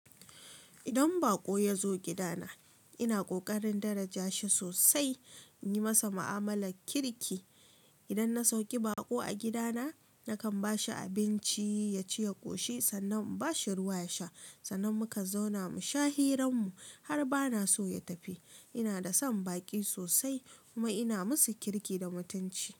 Idan baƙo ya zo gidana, ina ƙoƙarin daraja shi sosai, in yi masa ma'amalar kirki. Idan na sauki baƙo a gidana, nakan ba shi abinci ya ci ya ƙoshi, sannan in ba shi ruwa ya sha. Sannan mukan zauna mu sha hiran mu har bana so ya tafi. Ina da son baƙi sosai kuma ina masu kirki da mutunci.